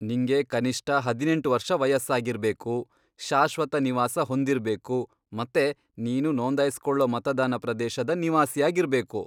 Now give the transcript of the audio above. ನಿಂಗೆ ಕನಿಷ್ಟ ಹದಿನೆಂಟ್ ವರ್ಷ ವಯಸ್ಸಾಗಿರ್ಬೇಕು, ಶಾಶ್ವತ ನಿವಾಸ ಹೊಂದಿರ್ಬೇಕು ಮತ್ತೆ ನೀನು ನೋಂದಾಯಿಸ್ಕೊಳೋ ಮತದಾನ ಪ್ರದೇಶದ ನಿವಾಸಿಯಾಗಿರ್ಬೇಕು.